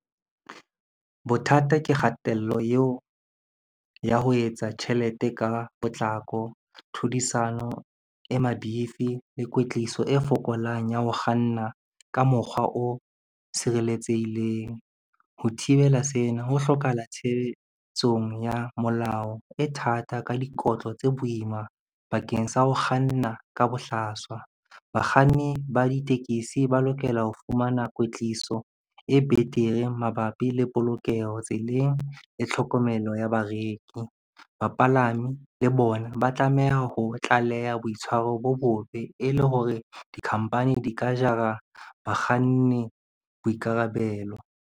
Bothata ke kgatello eo ya ho etsa tjhelete ka potlako, tlhodisano e mabifi le kwetliso e fokolang ya ho kganna ka mokgwa o sireletsehileng. Ho thibela sena ho hlokahala tshebetsong ya molao e thata ka dikotlo tse boima bakeng sa ho kganna ka bohlaswa. Bakganni ba ditekesi ba lokela ho fumana kwetliso e betere mabapi le polokeho tseleng le tlhokomelo ya bareki. Bapalami le bona ba tlameha ho tlaleha boitshwaro bo bobe e le hore dikhampani di ka jara bakganni boikarabelo.